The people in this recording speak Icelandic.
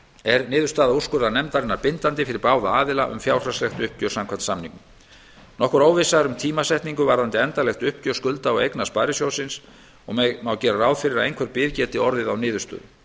er niðurstaða úrskurðarnefndarinnar bindandi fyrir báða aðila um fjárhagslegt uppgjör samkvæmt samningnum nokkur óvissa er um tímasetningu varðandi endanlegt uppgjör skulda og eigna sparisjóðsins og má gera ráð fyrir að einhver bið geti orðið á niðurstöðu